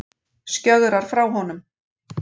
Skjögrar frá honum.